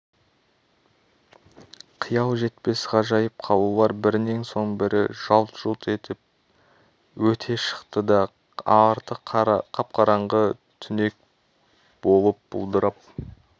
қиял жетпес ғажайып қалалар бірінен соң бірі жалт-жұлт етіп өте шықты да арты қап-қараңғы түнек болып бұлдырап